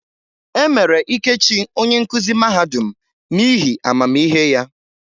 E mere Ikechi onye nkuzi mahadum n'ihi amamihe ya.